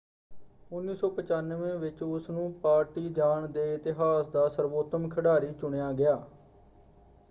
1995 ਵਿੱਚ ਉਸਨੂੰ ਪਾਰਟੀਜ਼ਾਨ ਦੇ ਇਤਿਹਾਸ ਦਾ ਸਰਵੋਤਮ ਖਿਡਾਰੀ ਚੁਣਿਆ ਗਿਆ।